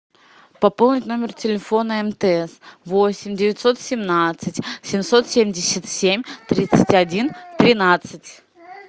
пополнить номер телефона мтс восемь девятьсот семнадцать семьсот семьдесят семь тридцать один тринадцать